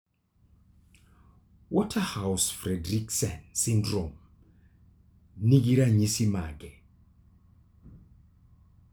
Waterhouse Friderichsen syndrome nigi ranyisi mage?